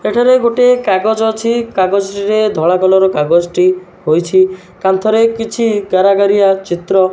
ଏଠାରେ ଗୋଟେ କାଗଜ ଅଛି। କାଗଜରେ ଧଳା କଲର କାଗଜଟି ହୋଇଛି। କାନ୍ଥରେ କିଛି ଗାରାଗାରିଆ ଚିତ୍ର --